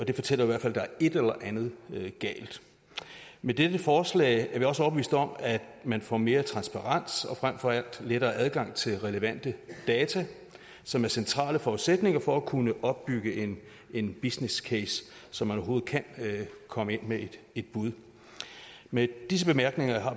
det fortæller i hvert fald at der er et eller andet galt med dette forslag er vi også overbevist om at man får mere transparens og frem for alt lettere adgang til relevante data som er centrale forudsætninger for at kunne opbygge en en businesscase så man overhovedet kan komme ind med et bud med disse bemærkninger har